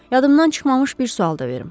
Yadımdan çıxmamış bir sual da verim.